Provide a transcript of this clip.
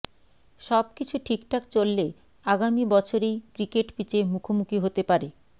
সব কিছু ঠিকঠাক চললে আগামী বছরেই ক্রিকেট পিচে মুখোমুখি হতে পারে